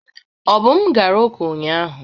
Obum gara uka unyanya.